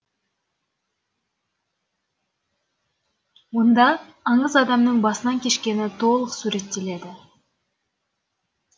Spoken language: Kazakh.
онда аңыз адамның басынан кешкені толық суреттеледі